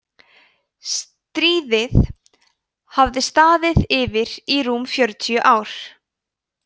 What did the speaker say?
stríðið hafði staðið yfir í rúm fjögur ár